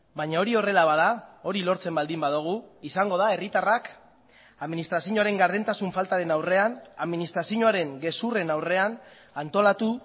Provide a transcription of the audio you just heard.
baina hori horrela bada hori lortzen baldin badugu izango da herritarrak administrazioaren gardentasun faltaren aurrean administrazioaren gezurren aurrean antolatu